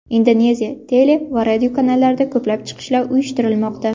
Indoneziya tele va radio kanallarida ko‘plab chiqishlar uyushtirilmoqda.